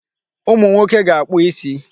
Ụmụnwoke ga-akpụ isi.